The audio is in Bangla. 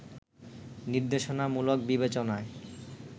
নির্দেশনামূলক বিবেচনায়